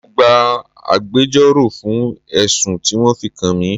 Mo gbà agbẹjoro fún ẹ̀sùn tí wọn fi kan mi.